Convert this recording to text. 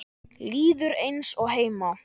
Líður eins og heima.